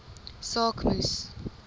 saak moes